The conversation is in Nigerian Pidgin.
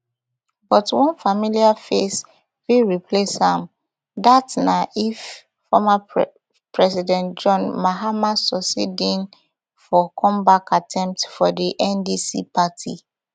but one familiar face fit replace am dat na if former president john mahama succeed in for comeback attempt for di ndc party